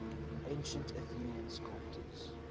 ancient athenian sculptors